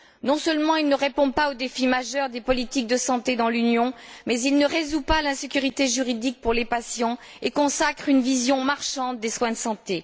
Non seulement il ne répond pas aux défis majeurs des politiques de santé dans l'Union, mais il ne résout pas l'insécurité juridique pour les patients et consacre une vision marchande des soins de santé.